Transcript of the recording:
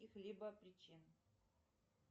каких либо причин